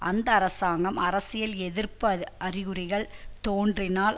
அந்த அரசாங்கம் அரசியல் எதிர்ப்பு அறிகுறிகள் தோன்றினால்